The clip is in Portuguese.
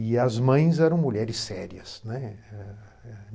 E as mães eram mulheres sérias, né.